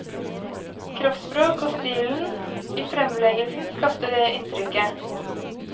Kroppsspråk og stilen i fremleggelsen skapte det inntrykket.